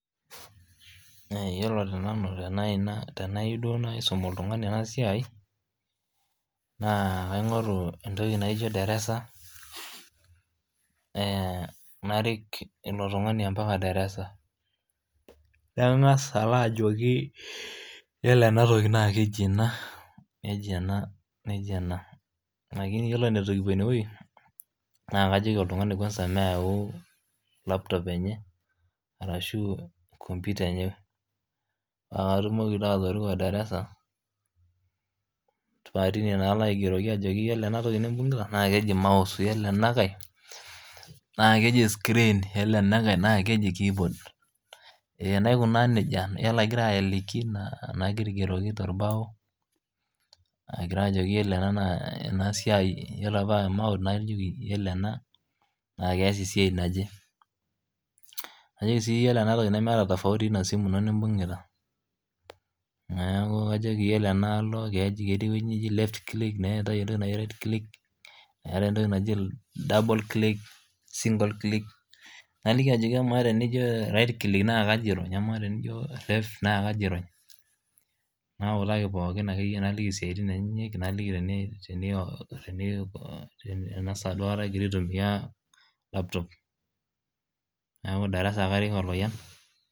Yiolo tenanu tenayieu duo naisum oltungani ena siai, naa kaingoru entoki naijo darasa ,narik ilo tungani mpaka darasa .Nangas alo ajoki yilo ena toki naa keji ena nejia ena nejia ena. Lakini yiolo angas eton eitu kipuo ineweji, na kajoki oltungani meyau laptop enye arashu computer enye. paa katumok naa atoriko darasa paa tine taa alo aigeroki ajo yiolo ena toki nimbungita naa keji mouse, yiolo enankae naa keji screen, yiolo enankae naa keji keyboard[s]naikunaa nejia .Ore agira aliki naigeroki torbao ajoki yiolo ena naa kees esiai naje. Najoki sii ore ena simu nemeeta tofauti oina toki nimbungita neeku kajoki yilo enaalo keetae entoki naji right click, neetae left click, eetae entoki naji double click, single click naliki ajoki amaa tenijo right click ashu left naa kaji irony. Nautaki pookin naliki siatin enyenyek .Naliki ena saa duo egira aitumiyia laptop.